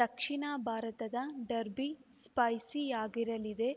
ದಕ್ಷಿಣ ಭಾರತದ ಡರ್ಬಿ ಸ್ಪೈಸಿಯಾಗಿರಲಿದೆ